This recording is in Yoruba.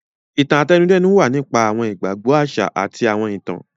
Ìtàn-àtẹnudẹ́nu wa nípa awọn igbagbọ aṣa ati awọn itan.